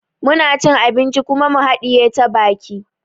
Muna cin abinci kuma mu haɗiye ta baki